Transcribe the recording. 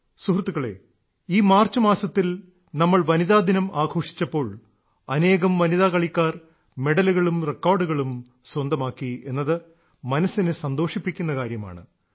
സുഹൃത്തുക്കളേ ഈ മാർച്ച് മാസത്തിൽ നമ്മൾ വനിതാദിനം ആഘോഷിച്ചപ്പോൾ അനേകം വനിതാ കളിക്കാർ മെഡലുകളും റെക്കോർഡുകളും സ്വന്തമാക്കി എന്നത് മനസ്സിനെ സന്തോഷിപ്പിക്കുന്ന കാര്യമാണ്